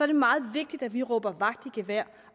det meget vigtigt at vi råber vagt i gevær